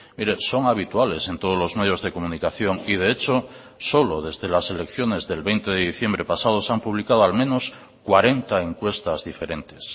mire son habituales en todos los medios de comunicación y de hecho solo desde las elecciones del veinte de diciembre pasado se han publicado al menos cuarenta encuestas diferentes